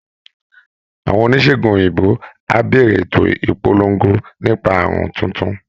Àwọn oníṣègùn òyìnbó á bẹ̀rẹ̀ ètò ìpolongo nípa àrùn tuntun